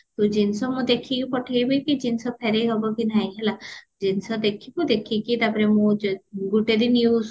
ତ ଜିନିଷ ମୁଁ ଦେଖିକି ପଠେଇବି କି ଜିନିଷ ଫେରେଇହବ କି ନାହି ନହେଲା ଜିନିଷ ଦେଖିବୁ ଦେଖିକି ତାପରେ ମୁଁ ଗୋଟେ ଦିନ use କରେ